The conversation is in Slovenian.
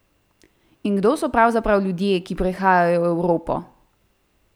In kdo so pravzaprav ljudje, ki prihajajo v Evropo?